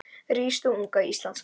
Rís þú unga Íslands merki